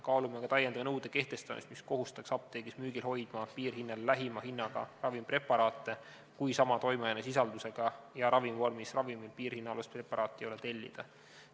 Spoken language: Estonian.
Kaalume ka lisanõude kehtestamist, mis kohustaks apteegis müügil hoidma piirhinnale lähima hinnaga ravimpreparaate, kui sama toimeainesisaldusega ja ravimvormis piirhinnaalust preparaati ei ole tellida.